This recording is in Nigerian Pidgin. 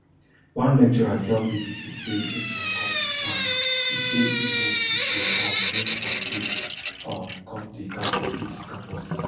one lecturer tell bbc say im welcome di ban e say im hope e go um bring some peace um come di campuses campuses